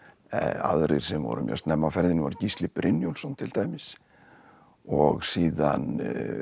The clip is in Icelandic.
aðrir sem voru mjög snemma á ferðinni voru Gísli Brynjólfsson til dæmis og síðan